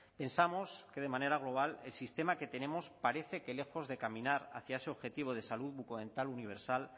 pensamos que de manera global el sistema que tenemos parece que lejos de caminar hacia ese objetivo de salud bucodental universal